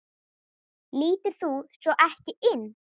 Líturðu svo ekki inn?